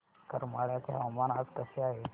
करमाळ्याचे हवामान आज कसे आहे